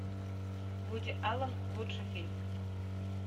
вуди аллен лучший фильм